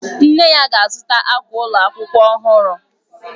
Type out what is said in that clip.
Nne ya ga-azụta akwa ụlọ akwụkwọ ọhụrụ.